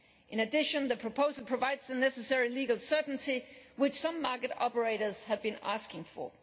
In addition, the proposal provides the necessary legal certainty which some market operators have been asking for.